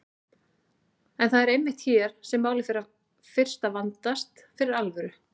En það er einmitt hér sem málið fer fyrst að vandast fyrir alvöru.